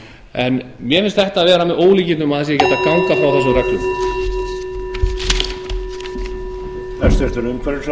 en mér finnst þetta vera með ólíkindum að það sé ekki hægt að ganga frá þessum reglum